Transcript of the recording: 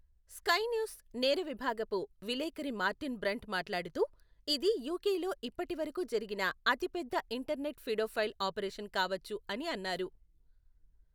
Sky News నేర విభాగపు విలేఖరి మార్టిన్ బ్రంట్ మాట్లాడుతూ, ఇది యూకేలో ఇప్పటివరకు జరిగిన అతిపెద్ద ఇంటర్నెట్ ఫిడో ఫైల్ ఆపరేషన్ కావచ్చు అని అన్నారు.